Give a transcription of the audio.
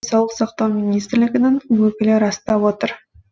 денсаулық сақтау министрлігінің өкілі растап отыр